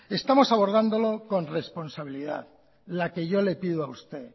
estamos abordándolo con responsabilidad la que yo le pido a usted